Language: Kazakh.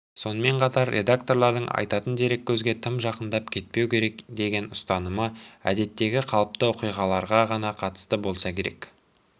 сонымен қатар редакторлардың айтатын дереккөзге тым жақындап кетпеу керек деген ұстанымы әдеттегі қалыпты оқиғаларға ғана қатысты болса керек